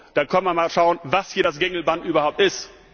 Da kann man mal schauen, was hier das Gängelband überhaupt ist.